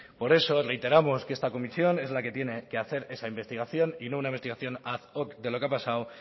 por eso reiteramos que esta comisión es la que tiene que hacer esa investigación y no una investigación ad hoc de lo que ha pasado